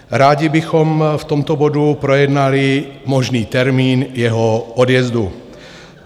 Rádi bychom v tomto bodu projednali možný termín jeho odjezdu.